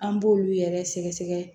An b'olu yɛrɛ sɛgɛsɛgɛ